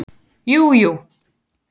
Jú jú.